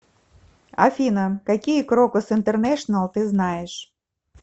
афина какие крокус интернешнл ты знаешь